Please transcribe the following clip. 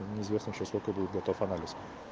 ну не известно ещё сколько будет готов анализ